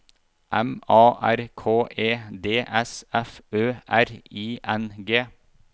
M A R K E D S F Ø R I N G